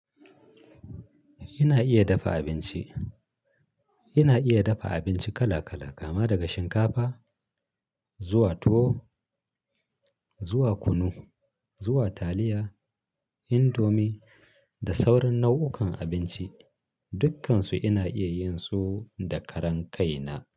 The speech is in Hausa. Ina iya dafa abinci. Ina iya dafa abinci kala kala, kama daga shinkafa zuwa tuwo, zuwa kunu, zuwa taliya, indomie da sauran nau'ukan abinci. Duk kansu ina iya yin su da karan kai na.